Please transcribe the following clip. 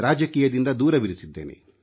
ರಾಜಕೀಯದಿಂದ ದೂರವಿರಿಸಿದ್ದೇನೆ